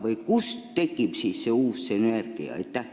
Või kust tekib see uus sünergia?